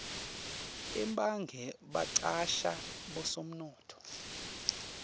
emabhange bacasha bosomnotfo